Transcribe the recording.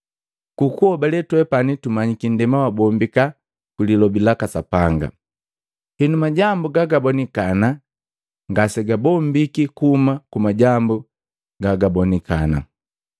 Ku kuhobale, twepani tumanyiki nndema wabombika kwi lilobi laka Sapanga; Henu majambu gaga bonikana ngasegabombika kuhuma ku majambu gagabonikana.